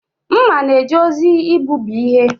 Mma na-eje ozi igbubi ihe